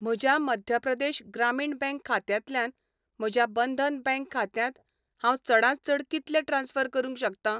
म्हज्या मध्य प्रदेश ग्रामीण बँक खात्यांतल्यान म्हज्या बंधन बँक खात्यांत हांव चडांत चड कितले ट्रान्स्फर करूंक शकतां?